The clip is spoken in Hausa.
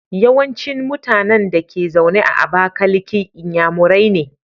Yawancin mutAnan Dake zaune a abakaliki inyamurai ne